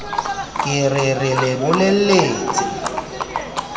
ke re re le bolelletse